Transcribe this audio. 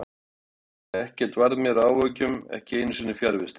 Ekkert varð mér að áhyggjum, ekki einu sinni fjarvistir.